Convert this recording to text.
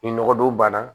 Ni nɔgɔ don bana